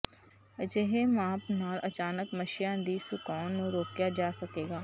ਅਜਿਹੇ ਮਾਪ ਨਾਲ ਅਚਾਨਕ ਮੱਛੀਆਂ ਦੀ ਸੁਕਾਉਣ ਨੂੰ ਰੋਕਿਆ ਜਾ ਸਕੇਗਾ